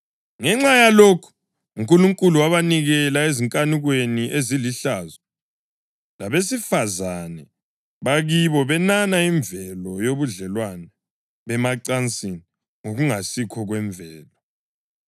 Ngenxa yalokhu, uNkulunkulu wabanikela ezinkanukweni ezilihlazo. Labesifazane bakibo benana imvelo yobudlelwano bemacansini ngokungasikho kwemvelo.